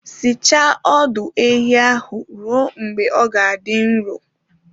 Sichaa ọdụ ehi ahụ ruo mgbe ọ ga-adị nro